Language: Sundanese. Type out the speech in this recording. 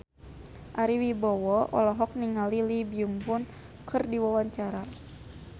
Ari Wibowo olohok ningali Lee Byung Hun keur diwawancara